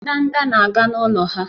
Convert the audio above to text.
Ndanda na-aga n'ụlọ ha